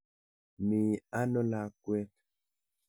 Mi ano lakwet.